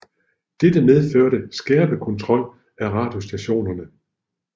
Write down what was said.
Dette medførte skærpet kontrol af radiostationerne